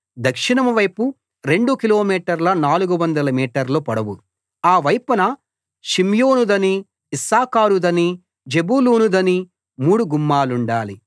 దక్షిణం వైపు రెండు కిలోమీటర్ల 400 మీటర్ల పొడవు ఆ వైపున షిమ్యోనుదనీ ఇశ్శాఖారుదనీ జెబూలూనుదనీ మూడు గుమ్మాలుండాలి